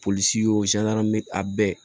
Polisi y'o a bɛɛ